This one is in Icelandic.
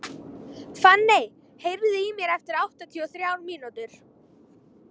Fanney, heyrðu í mér eftir áttatíu og þrjár mínútur.